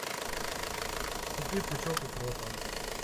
купи пучок укропа